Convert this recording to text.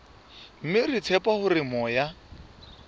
mme re tshepa hore moya